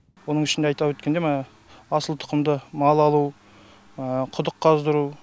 оның ішінде айта өткендей асыл тұқымды мал алу құдық қаздыру